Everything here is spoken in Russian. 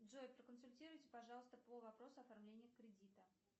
джой проконсультируйте пожалуйста по вопросу оформления кредита